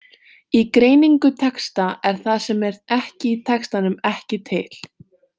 Í greiningu texta er það sem er ekki í textanum ekki til.